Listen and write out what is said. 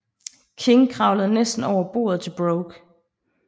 King kravlede næsten over bordet til Brooke